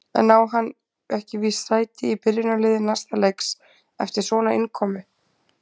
En á hann ekki víst sæti í byrjunarliði næsta leiks eftir svona innkomu?